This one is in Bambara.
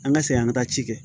An ka segin an ka taa ci kɛ